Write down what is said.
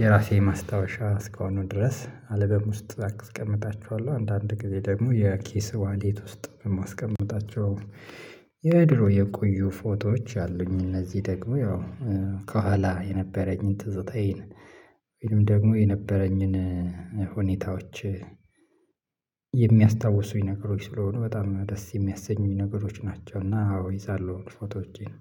የራሴን ማስታወሻ እስከሆኑ ድረስ አልበም ውስጥ አስቀምጣቸዋለሁ፤ አንዳንድ ጊዜ ደግሞ የኪስ ዋሌት ውስጥ ነው የማስቀምጣቸው። የድሮ የቆዩ ፎቶዎች አሉኝ እነዚህ ደግሞ ያው ከኋላ የነበረኝን ትዝታዬን ወይም ደግሞ የነበረኝን ሁኔታዎች የሚያስታውሱኝ ነገሮች ስለሆኑ፤ በጣም ደስ የሚያሰኝ ነገሮች ናቸውና አዎ ይዛለሁ ፎቶዎቼን